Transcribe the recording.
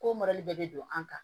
Ko bɛɛ bɛ don an kan